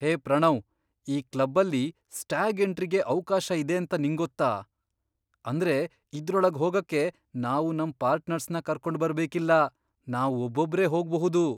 ಹೇ ಪ್ರಣವ್, ಈ ಕ್ಲಬ್ಬಲ್ಲಿ ಸ್ಟ್ಯಾಗ್ ಎಂಟ್ರಿಗೆ ಅವ್ಕಾಶ ಇದೇಂತ ನಿಂಗೊತ್ತಾ? ಅಂದ್ರೆ ಇದ್ರೊಳಗ್ ಹೋಗಕ್ಕೆ ನಾವು ನಮ್ ಪಾರ್ಟ್ನರ್ಸ್ನ ಕರ್ಕೊಂಡ್ಬರ್ಬೇಕಿಲ್ಲ, ನಾವ್ ಒಬ್ಬೊಬ್ರೇ ಹೋಗ್ಬಹುದು!